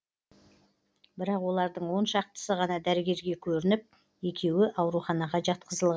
бірақ олардың он шақтысы ғана дәрігерге көрініп екеуі ауруханаға жатқызылған